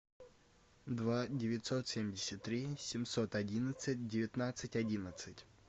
два девятьсот семьдесят три семьсот одиннадцать девятнадцать одиннадцать